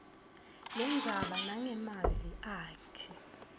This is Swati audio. lendzaba nangemavi akhe